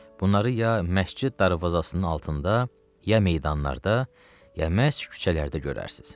Bunları ya məscid darvazasının altında, ya meydanlarda, ya məhz küçələrdə görərsiz.